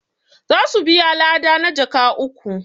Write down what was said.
za su biya lada na jaka uku